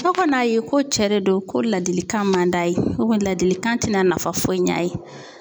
Fo ka n'a ye ko cɛ de don ko ladilikan man d'a ye ladilikan ti na nafa foyi ɲ'a ye.